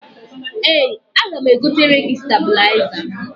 Ee, aga m egotere gi stabụlaịza.